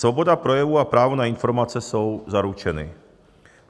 Svoboda projevu a právo na informace jsou zaručeny.